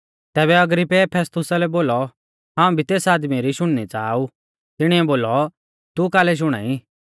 तैबै अग्रिप्पै फेस्तुसा लै बोलौ हाऊं भी तेस आदमी री शुणनी च़ाहा ऊ तिणीऐ बोलौ तू कालै शुणाई